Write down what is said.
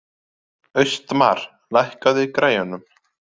Austmar, lækkaðu í græjunum.